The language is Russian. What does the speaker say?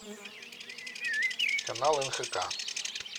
канал нхк